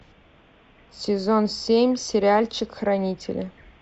сезон семь сериальчик хранители